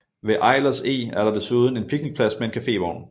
Ved Eilers Eg er der desuden en picnicplads med en cafévogn